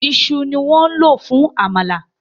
Ìṣù ni wọ́n lò fún àmàlà